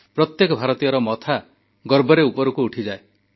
ପ୍ରତ୍ୟେକ ଭାରତୀୟର ମଥା ଗର୍ବରେ ଉପରକୁ ଉଠିଯାଏ